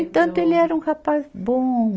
Entanto, ele era um rapaz bom.